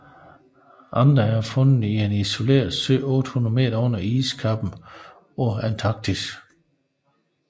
Andre er fundet i en isoleret sø 800 m under iskappen på Antarktis